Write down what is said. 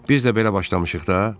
Biz də belə başlamışıq da.